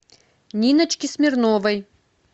ниночки смирновой